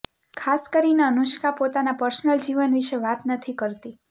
ખાસ કરીને અનુષ્કા પોતાના પર્સનલ જીવન વિશે વાત નથી કરતી